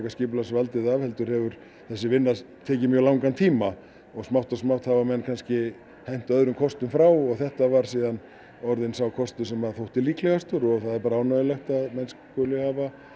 skipulagsvaldið af heldur hefur þessi vinna tekið langan tíma smátt og smátt hafa menn kannski hent öðrum kostum frá og þetta var síðan orðinn sá kostur sem að þótti líklegastur og það er bara ánægjulegt að menn skuli hafa